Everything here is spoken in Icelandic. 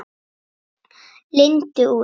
Lindu út.